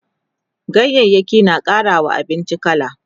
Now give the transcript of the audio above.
ganyayaki na ƙarawa abinci kala